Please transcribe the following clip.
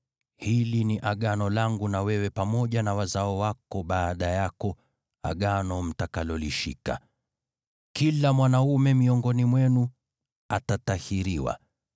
Hili ni Agano langu na wewe pamoja na wazao wako baada yako, Agano mtakalolishika: Kila mwanaume miongoni mwenu atatahiriwa.